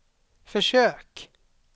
försök